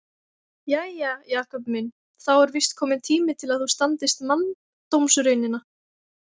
Jæja, Jakob minn, þá er víst kominn tími til að þú standist manndómsraunina.